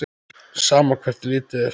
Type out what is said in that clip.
Sama hvert litið er.